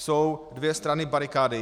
Jsou dvě strany barikády.